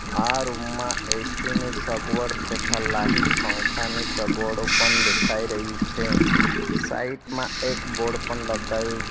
આ રૂમ માં એ_સી ની સગવડ તથા લાહીટ પંખાની સગવડો પણ દેખાઈ રહી છે સાઈડ માં એક બોર્ડ પણ લગાયવુ છે.